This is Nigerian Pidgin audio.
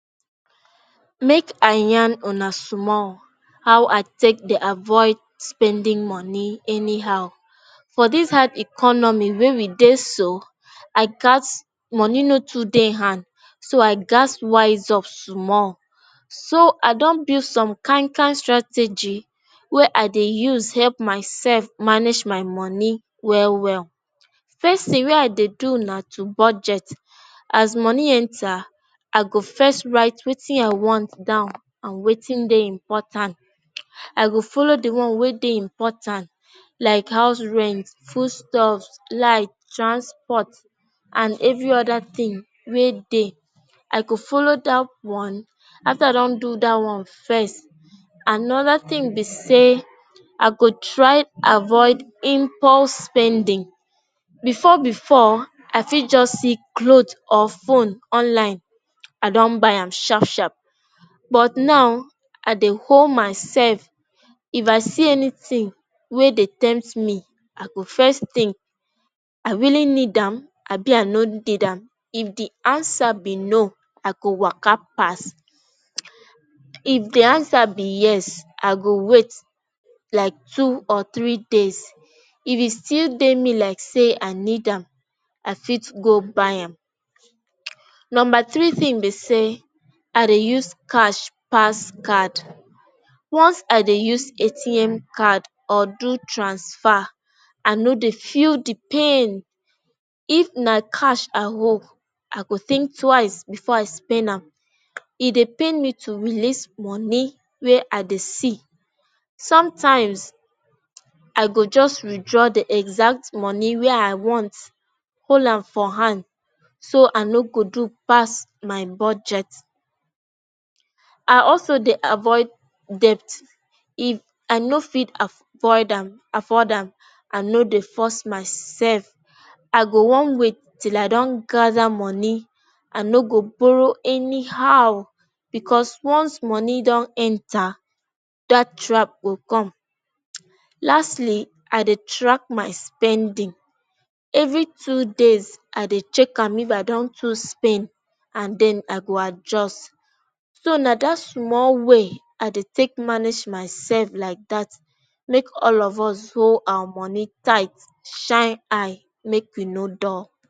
make i yan una small how i take dey avoid spending money anyhow for dis hard economy wey we dey so i gasp moni no too dey hand so i gasp wise up small so i don build some kaincan strategy wey i dey use help mysef manage my moni well well face se wey i dey do na to budget as moni enta i go first rite wetin I wan down and wetin dey importan, I go follow the one way dey importan like house rent, foodstuff, light, transport and every other tin way dey i go follow dat one after i don do dat one first anoda tin be say i go try avoid impulse spending before before I fit just see cloth or phone online I don buy am sharp sharp but now I dey hol myself if I see anything wey dey tempt me I go first think I really need am abi I did am if the answer be no I waka pass, if the answer be yes I go wait like two or three days if it's still dey me like say i need am i fit go buy am number three tins be say I dey use cash pass card once I dey use ATM card or do transfer I no dey feel di pain if na cash I hol I go think twice before I spen am e dey pain me to release moni way i dey see sometimes i go just withdraw di exact moni way I want hol am for han so I no go do pass my budget I also dey avoid dept if I no fit af void am afford am i no dey force myself i go wan wait til i don gather moni i no go borrow anyhow because once moni don enta dat trap go come, lastly I dey track my spending every two days I dey check am if I don too spen and den i go adjust so na dat small way i dey take manage myself like dat make all of us hol our moni tight shine eye make we no dul.